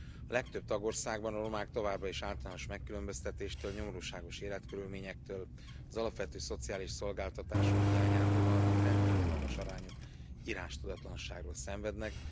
A legtöbb tagországban a romák továbbra is általános megkülönböztetéstől, nyomorúságos életkörülményektől, az alapvető szociális szolgáltatások hiányától, valamint rendkívül magas arányú írástudatlanságtól szenvednek.